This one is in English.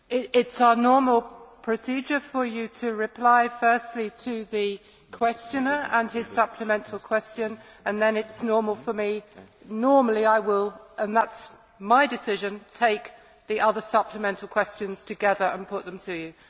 It is our normal procedure for you to reply firstly to the questioner and his supplementary question and then, normally, I will and that is my decision take the other supplementary questions together and put them to you.